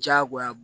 Diyagoya